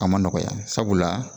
A ma nɔgɔya sabula